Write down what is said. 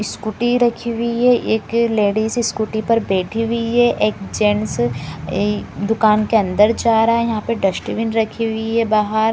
Scooty रखी हुई है एक लेडीज स्कूटी पर बैठी हुई है एक जेंट्स ई दुकान के अंदर जा रहा है यहाँ पे डस्टबिन रखी हुई है बाहर।